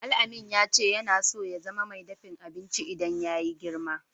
Alamin ya ce yana so ya zama mai daffin abinci idan ya yi girma.